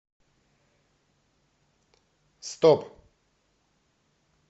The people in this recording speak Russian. стоп